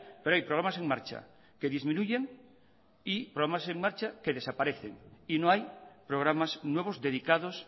pero hay programas en marcha que disminuyen y programas en marcha que desaparecen y no hay programas nuevos dedicados